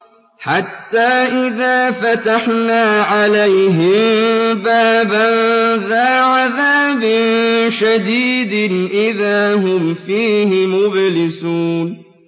حَتَّىٰ إِذَا فَتَحْنَا عَلَيْهِم بَابًا ذَا عَذَابٍ شَدِيدٍ إِذَا هُمْ فِيهِ مُبْلِسُونَ